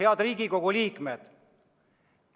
Head Riigikogu liikmed!